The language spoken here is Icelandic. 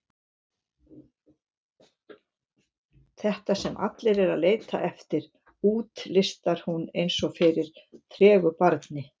Þetta sem allir eru að leita eftir, útlistar hún eins og fyrir tregu barni.